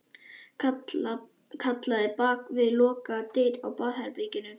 Kallaði bak við lokaðar dyr á baðherberginu.